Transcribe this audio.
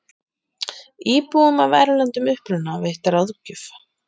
Íbúum af erlendum uppruna veitt ráðgjöf